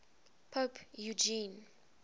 pope eugene